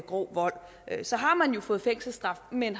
grov vold så har man jo fået fængselsstraf men